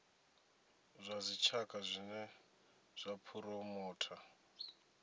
zwa dzitshaka zwine zwa phuromotha